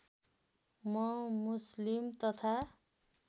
म मुस्लिम तथा